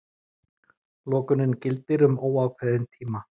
Lokunin gildir um óákveðinn tíma